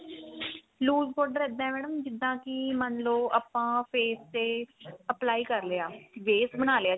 lose powder ਇੱਦਾਂ madam ਜਿੱਦਾਂ ਕੀ ਮੰਨ ਲੋ ਆਪਾਂ face ਤੇ apply ਕ਼ਰ ਲਿਆ base ਬਣਾ ਲਿਆ